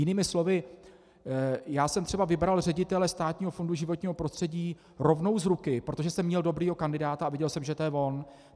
Jinými slovy, já jsem třeba vybral ředitele Státního fondu životního prostředí rovnou z ruky, protože jsem měl dobrého kandidáta a viděl jsem, že to je on.